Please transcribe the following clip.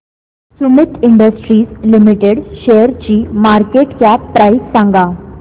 Sumeet industries limited शेअरची market cap price सांगा